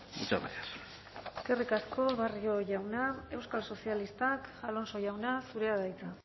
muchas gracias eskerrik asko barrio jauna euskal sozialistak alonso jauna zurea da hitza